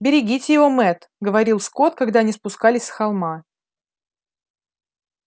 берегите его мэтт говорил скотт когда они спускались с холма